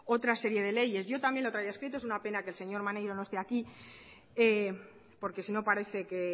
otra serie de leyes yo también lo traía escrito es una pena que el señor maneiro no esté aquí porque si no parece que